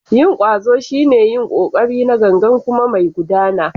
Yin ƙwazo shine yin ƙoƙari na gangan kuma mai gudana.